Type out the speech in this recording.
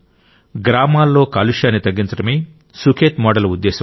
గ్రామాల్లో కాలుష్యాన్ని తగ్గించడమే సుఖేత్ మోడల్ ఉద్దేశ్యం